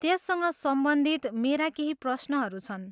त्यससँग सम्बन्धित मेरा केही प्रश्नहरू छन्।